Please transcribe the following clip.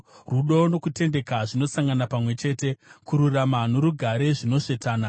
Rudo nokutendeka zvinosangana pamwe chete; kururama norugare zvinosvetana.